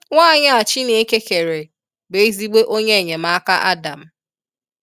Nwaanyị a Chineke kere bụ ezigbo onye enyemaka Adam.